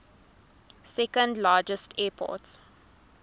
second largest airport